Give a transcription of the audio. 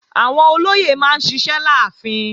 Àwọn olóyè máa ń ṣiṣẹ́ láàfin